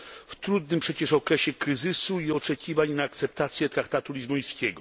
W trudnym przecież okresie kryzysu i oczekiwań na akceptację traktatu lizbońskiego.